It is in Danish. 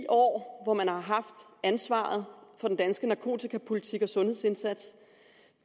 år hvor man har haft ansvaret for den danske narkotikapolitik og sundhedsindsats